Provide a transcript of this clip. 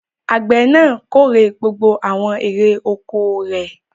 Àgbẹ̀ náà kórè gbogbo àwọn èrè-oko rẹ̀.